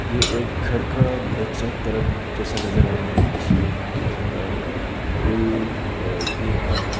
ये एक घर का बैक साइड तरफ जैसा नजर आ रहा है जिसमें अ बे अ फूल अ भी रखा हुआ है।